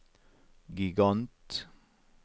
gigant